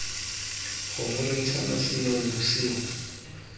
kgomo re ntshana seinong bosigo